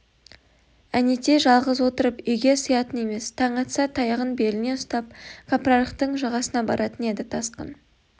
әнетей жалғыз отырып үйге сиятын емес таң атса таяғын беліне ұстап кәпірарықтың жағасына баратын еді тасқын